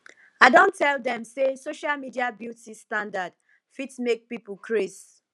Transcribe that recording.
i don tel dem say social media beauty standard fit make people craze